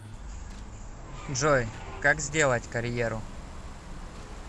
джой как сделать карьеру